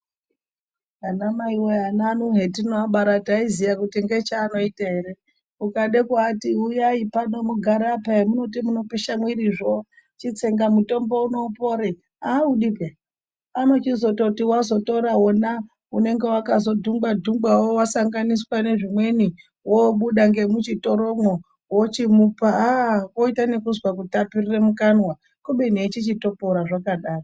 Ana mai wee ana ano hetino abara tai ziya kuti ngecha anoita ere ukade ku ati huyai pano mugare apa hemunoti muno pisha mwiri zvo chitsenga mutombo uno upore audi peya anochizototi wazo tora wona unenge wakazo dhungwa dhungwa wo wasanganiswa ne zvimweni wobuda nge muchitoro mwo wochimupa aaa woita nekuzwa ku tapirire mukanwa kubeni echichito pora zvakadaro.